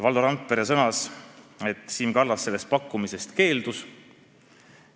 Valdo Randpere sõnul Siim Kallas sellest pakkumisest keeldus.